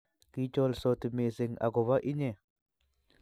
Kicholsoti missing agoba inye